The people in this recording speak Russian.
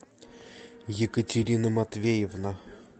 екатерина матвеевна